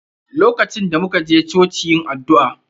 LOkacin da muka ji choci yin addu'a